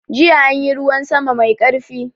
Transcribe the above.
Jiya anyi ruwan sama mai karfi.